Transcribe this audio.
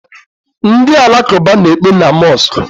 Ndi alakụba na-ekpe na mosku.